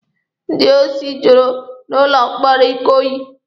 Ndị osi jụrụ n'ụlọ mkpọrọ Ikoyi.